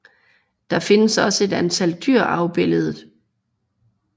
Der findes også et antal dyr afbilledet